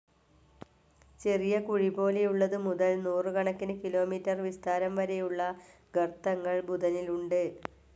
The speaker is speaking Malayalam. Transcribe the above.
ചെറിയ കുഴിപോലെയുള്ളത് മുതൽ നൂറുകണക്കിന് കിലോമീറ്റർ വിസ്താരം വരെയുള്ള ഗർത്തങ്ങൾ ബുദ്ധനിലുണ്ട്.